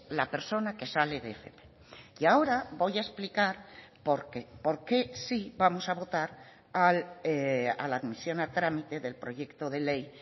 la persona que sale de fp y ahora voy a explicar por qué por qué sí vamos a votar a la admisión a trámite del proyecto de ley